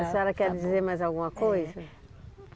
A senhora quer dizer mais alguma coisa?